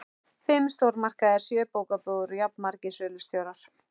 Fimm stórmarkaðir, sjö bókabúðir og jafnmargir sölustjórar.